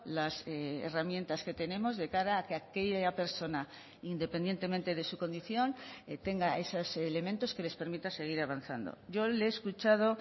las herramientas que tenemos de cara a que aquella persona independientemente de su condición tenga esos elementos que les permita seguir avanzando yo le he escuchado